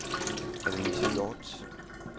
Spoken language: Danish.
Annalise Hjorth